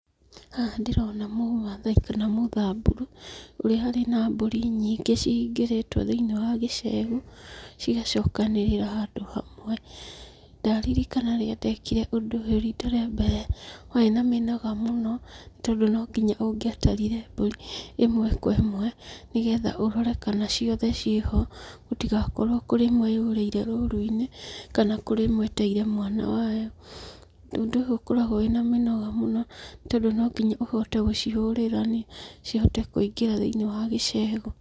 Haha ndĩrona mũmathai kana mũthamburu, ũrĩa harĩ na mbũri nyingĩ cihingĩrĩtwo thĩiniĩ wa gĩcegũ, cigacokanĩrĩra handũ hamwe. Ndaririkana rĩrĩa ndekire ũndũ ũyũ riita rĩa mbere, warĩ na mĩnoga mũno, tondũ no kinya ũngĩatarire mbũri ĩmwe kwa ĩmwe, nĩgetha ũrore kana ciothe ciĩho, gũtigakorwo kũrĩ ĩmwe yũrĩire rũru-inĩ, kana kũrĩ ĩmwe ĩteire mwana wayo. Ũndũ ũyũ ũkoragwo wĩna mĩnoga mũno, tondũ nonginya ũhote gũcihũra cihote kũingĩra thĩiniĩ wa gĩcegũ.